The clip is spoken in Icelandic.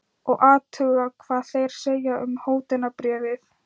Og athuga hvað þeir segja um hótunarbréfið.